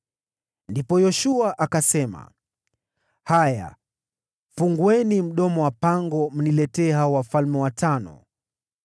Ndipo Yoshua akasema, “Haya fungueni mdomo wa pango, mniletee hao wafalme watano.”